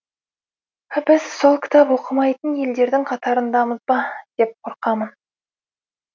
біз сол кітап оқымайтын елдердің қатарындамыз ба деп қорқамын